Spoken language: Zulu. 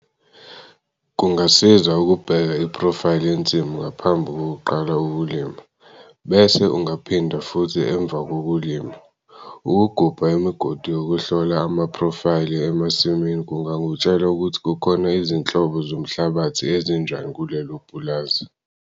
Kungasiza ukubheka iphrofayili yensimu ngaphambi kokuqala ukulima, bese ungaphinda futhi emva kokulima. Ukugubha imigodi yokuhlola amaphrofayili emasimini kungakutshela ukuthi kukhona izinhlobo zomhlabathi ezinjani kulelo pulazi.